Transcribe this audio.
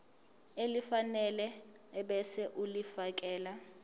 elifanele ebese ulifiakela